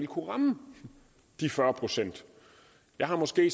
kunne ramme de fyrre procent jeg har måske